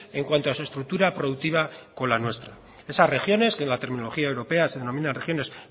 en cuanto a su estructura productiva con la nuestra esas regiones que en la terminología europea se denomina regiones